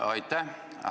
Aitäh!